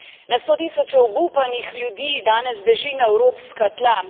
Na stotisoče obupanih ljudi danes beži na evropska tla.